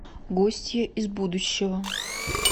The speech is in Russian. гостья из будущего